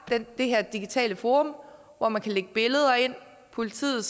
det her digitale forum hvor man kan lægge billeder ind politiet